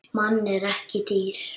Mann en ekki dýr.